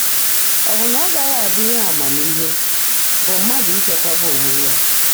Ọ bụ na ọ gaghị abụ ihe amamihe bụ mmadụ ichekwaba onwe ya?